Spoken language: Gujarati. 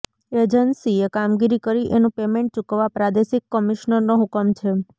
એજન્સીએ કામગીરી કરી એનું પેમેન્ટ ચૂકવવા પ્રાદેશિક કમિશ્નરનો હુકમ છે